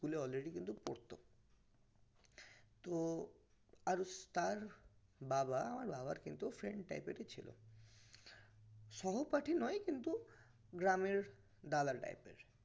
school এ already কিন্তু পড়তো তো আর তার তার বাবা আমার বাবার friend type ছিল সহপাঠী নয় কিন্তু গ্রামের দাদা type এর